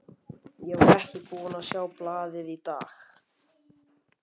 Ég var ekki búinn að sjá blaðið í dag.